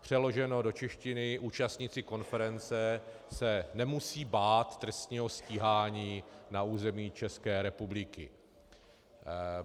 Přeloženo do češtiny, účastníci konference se nemusí bát trestního stíhání na území České republiky.